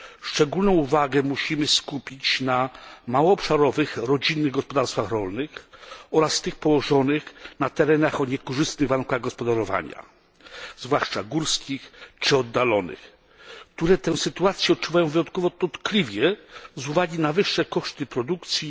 Szczególną uwagę musimy skupić na małoobszarowych rodzinnych gospodarstwach rolnych oraz gospodarstwach położonych na terenach o niekorzystnych warunkach gospodarowania, zwłaszcza górskich czy oddalonych, które tę sytuację odczuwają wyjątkowo dotkliwie z uwagi na wyższe koszty produkcji,